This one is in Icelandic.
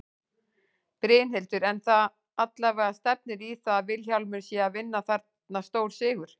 Brynhildur: En það allavega stefnir í það að Vilhjálmur sé að vinna þarna stórsigur?